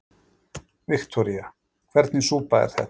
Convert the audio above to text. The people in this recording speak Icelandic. Viktoría: Hvernig súpa er þetta?